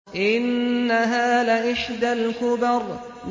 إِنَّهَا لَإِحْدَى الْكُبَرِ